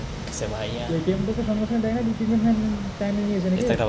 ATM টা তো সঙ্গে সঙ্গে দেয় না দু তিন দিন time নিয়ে নিয়েছে নাকি?